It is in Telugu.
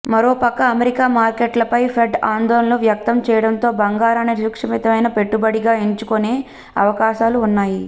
మరోపక్క అమెరికా మార్కెట్లపై ఫెడ్ ఆందోళనలు వ్యక్తం చేయడంతో బంగారాన్ని సురక్షితమైన పెట్టుబడిగా ఎంచుకొనే అవకాశాలు ఉన్నాయి